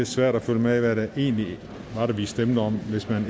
svært at følge med i hvad det egentlig var vi stemte om hvis man